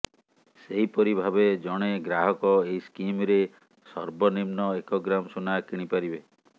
ସେହିପରି ଭାବେ ଜଣେ ଗ୍ରାହକ ଏହି ସ୍କିମରେ ସର୍ବନିମ୍ନ ଏକ ଗ୍ରାମ ସୁନା କିଣି ପାରିବେ